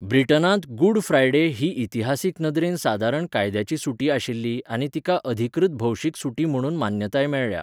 ब्रिटनांत good Friday ही इतिहासीक नदरेन सादारण कायद्याची सुटी आशिल्ली आनी तिका अधिकृत भौशीक सुटी म्हणून मान्यताय मेळ्ळ्या.